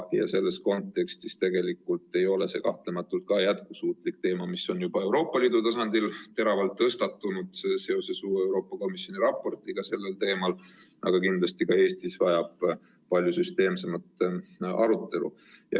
Selles kontekstis ei ole see kahtlematult jätkusuutlik, mis on juba Euroopa Liidu tasandil teravalt tõstatunud seoses uue Euroopa Komisjoni raportiga sellel teemal, aga kindlasti vajab see ka Eestis palju süsteemsemat arutelu.